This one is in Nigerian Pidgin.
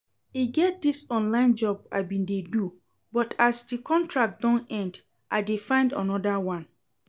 E get dis online job I bin dey do but as the contract don end I dey find another one